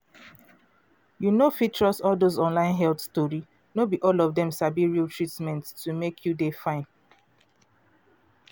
you no fit trust all dose online health tori no be all of dem sabi real treatment to make you dey fine.